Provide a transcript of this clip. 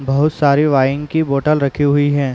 बहुत सारी वाइन की बोटल रखी हुई है ।